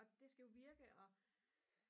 og det skal jo virke og